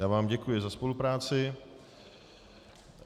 Já vám děkuji za spolupráci.